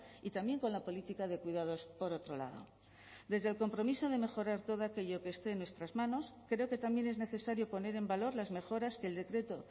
y también con la política de cuidados por otro lado desde el compromiso de mejorar todo aquello que esté en nuestras manos creo que también es necesario poner en valor las mejoras que el decreto